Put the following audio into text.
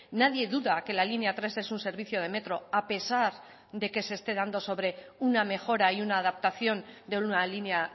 nadie duda que la línea tres es un servicio de metro a pesar de que se esté dando sobre una mejora y una adaptación de una línea